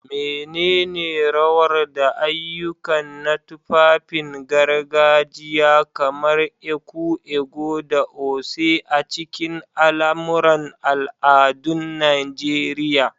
Menene rawar da ayyuka na tufafin gargajiya kamar ẹkú/agọ̀ da oṣé a cikin al'amuran al'adun Najeriya?